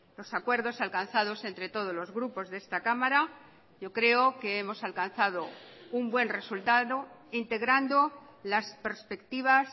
los acuerdos alcanzados entre todos los grupos de esta cámara yo creo que hemos alcanzado un buen resultado integrando las perspectivas